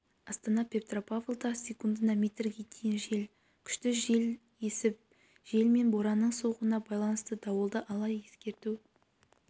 астана петропавлда секундына метрге дейін күшті жел есіп жел мен боранның соғуына байланысты дауылды ала ескерту